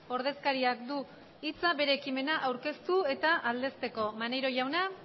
ordezkariak du hitza bere ekimena aurkeztu eta aldezteko maneiro jauna